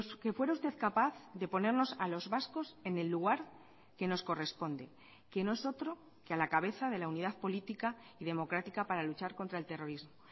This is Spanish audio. que fuera usted capaz de ponernos a los vascos en el lugar que nos corresponde que no es otro que a la cabeza de la unidad política y democrática para luchar contra el terrorismo